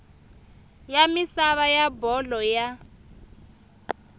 ya misava ya bolo ya